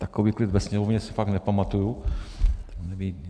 Takový klid ve sněmovně si fakt nepamatuji.